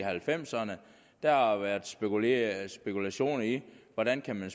halvfems ’erne har været spekuleret i hvordan man